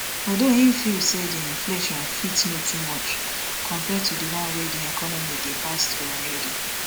although im feel say di inflation fit no too much compare to di one wey di economy dey pass through already